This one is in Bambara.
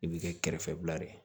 I bɛ kɛ kɛrɛfɛla de ye